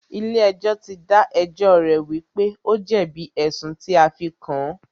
Ilé ẹjọ́ tí dá ẹjọ́ rẹ̀ wípé o jẹ̀bi ẹ̀sùn tí a fí kàn án.